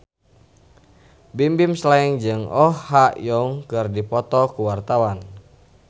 Bimbim Slank jeung Oh Ha Young keur dipoto ku wartawan